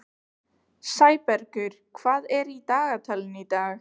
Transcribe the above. Sæbergur, hvað er í dagatalinu í dag?